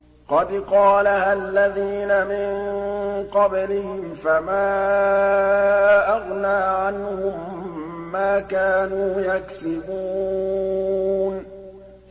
قَدْ قَالَهَا الَّذِينَ مِن قَبْلِهِمْ فَمَا أَغْنَىٰ عَنْهُم مَّا كَانُوا يَكْسِبُونَ